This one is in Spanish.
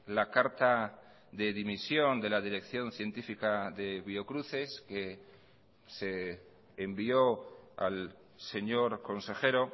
la carta de dimisión de la dirección científica de biocruces que se envió al señor consejero